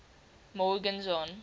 morgenzon